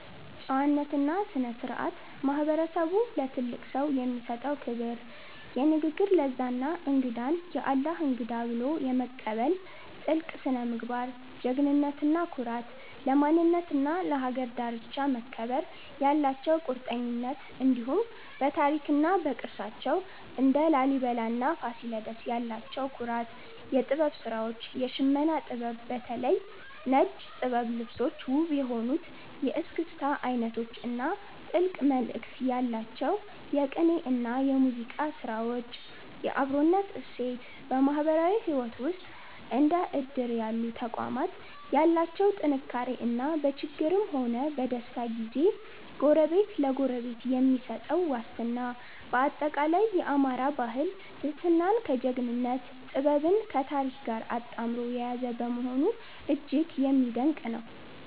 ጨዋነትና ስነ-ስርዓት፦ ማህበረሰቡ ለትልቅ ሰው የሚሰጠው ክብር፣ የንግግር ለዛ እና እንግዳን "የአላህ እንግዳ" ብሎ የመቀበል ጥልቅ ስነ-ምግባር። ጀግንነትና ኩራት፦ ለማንነትና ለሀገር ዳርቻ መከበር ያላቸው ቁርጠኝነት፣ እንዲሁም በታሪክና በቅርሳቸው (እንደ ላሊበላና ፋሲለደስ) ያላቸው ኩራት። የጥበብ ስራዎች፦ የሽመና ጥበብ (በተለይ ነጭ ጥበብ ልብሶች)፣ ውብ የሆኑት የእስክስታ አይነቶች እና ጥልቅ መልእክት ያላቸው የቅኔና የሙዚቃ ስራዎች። የአብሮነት እሴት፦ በማህበራዊ ህይወት ውስጥ እንደ እድር ያሉ ተቋማት ያላቸው ጥንካሬ እና በችግርም ሆነ በደስታ ጊዜ ጎረቤት ለጎረቤት የሚሰጠው ዋስትና። ባጠቃላይ፣ የአማራ ባህል ትህትናን ከጀግንነት፣ ጥበብን ከታሪክ ጋር አጣምሮ የያዘ በመሆኑ እጅግ የሚደነቅ ነው።